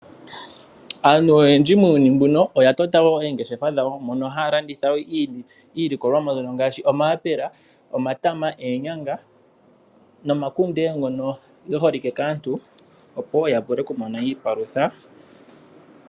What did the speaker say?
Aantu oyendji muuyuni mbuno oya tota wo oongeshefa dhawo mono haya landitha iilikolomwa mbyono ngaashi omayapela, omatama, oonyanga nomakunde ngono ge holike kaantu opo wo ya vule okumona iipalutha.